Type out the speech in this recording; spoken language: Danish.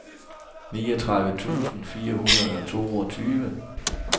niogtredive tusind fire hundrede og toogtyve